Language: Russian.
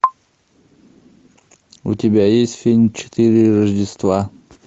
у тебя есть фильм четыре рождества